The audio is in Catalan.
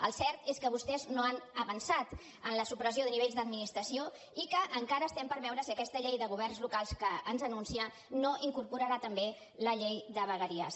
el cert és que vostès no han avançat en la supressió de nivells d’administració i que encara estem per veure si aquesta llei de governs locals que ens anuncia no incorporarà també la llei de vegueries